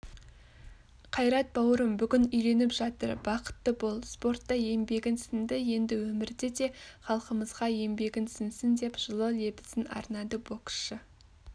қайрат бауырым бүгін үйленіп жатыр бақытты бол спортта еңбегің сіңді енді өмірде де халқымызға еңбегің сіңсін деп жылы лебізін арнады боксшы